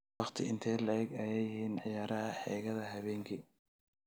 Waqti intee le'eg ayay yihiin ciyaaraha xeegada habeenkii?